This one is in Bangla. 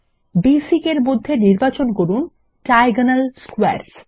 বেসিক এর মধ্যে নির্বাচন করুন ডায়াগোনাল স্কোয়ারস